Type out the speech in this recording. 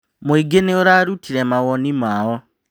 Mũingĩ nĩ ũrarutire mawoni mao.